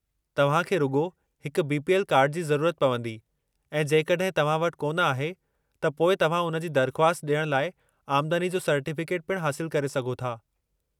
तव्हां खे रुॻो हिकु बी.पी.एल. कार्डु जी ज़रूरत पवंदी ऐं जेकॾहिं तव्हां वटि कोन आहे, त पोइ तव्हां उन जी दरख़्वास्त ॾियण लाइ आमदनी जो सर्टीफ़िकेट पिणु हासिलु करे सघो था।